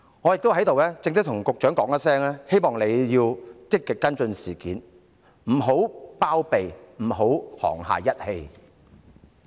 我在此正式要求局長積極跟進事件，不要包庇任何人，不要沆瀣一氣。